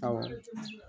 Awɔ